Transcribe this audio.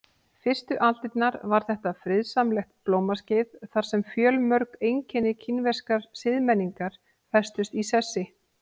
Fyrstu aldirnar var þetta friðsamlegt blómaskeið þar sem fjölmörg einkenni kínverskrar siðmenningar festust í sessi.